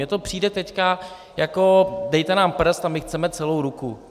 Mně to přijde teď jako dejte nám prst a my chceme celou ruku.